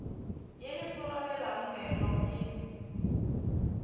ye e somarelang meono e